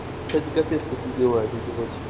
кстати капец как любила это делать